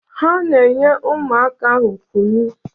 Ha na-enye ụmụaka ahụ kụnụ